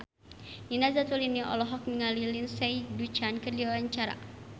Nina Zatulini olohok ningali Lindsay Ducan keur diwawancara